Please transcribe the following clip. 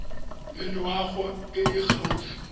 le loago e e gaufi